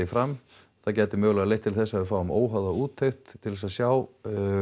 fram það gæti mögulega leitt til þess að við fáum úttekt til þess að sjá